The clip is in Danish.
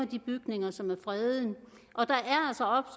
de bygninger som er fredet